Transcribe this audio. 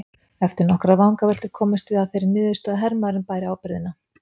Eftir nokkrar vangaveltur komumst við að þeirri niðurstöðu að hermaðurinn bæri ábyrgðina.